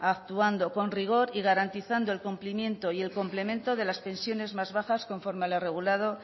actuando con rigor y garantizando el cumplimiento y el complemento de las pensiones más bajas conforme a lo regulado